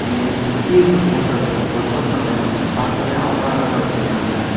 இங்க சுத்தியிருக்கற ஃபோட்டோலயும் வொர்க் அவுட் பண்ற மாதிரி பாக்கவே அவ்ளோ அழகா வச்சிருக்காங்க.